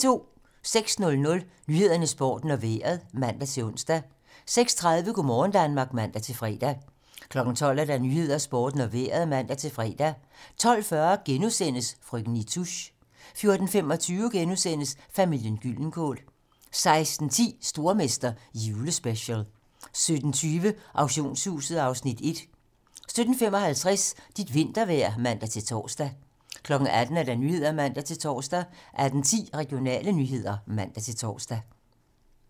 06:00: Nyhederne, Sporten og Vejret (man-ons) 06:30: Go' morgen Danmark (man-fre) 12:00: 12 Nyhederne, Sporten og Vejret (man-fre) 12:40: Frøken Nitouche * 14:25: Familien Gyldenkål * 16:10: Stormester - julespecial 17:20: Auktionshuset (Afs. 1) 17:55: Dit vintervejr (man-tor) 18:00: 18 Nyhederne (man-tor) 18:10: Regionale nyheder (man-tor)